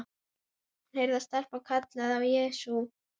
Hún heyrir að stelpan kallar á Jesú.